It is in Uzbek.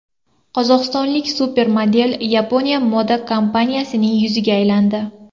Qozog‘istonlik supermodel Yaponiya moda kompaniyasining yuziga aylandi.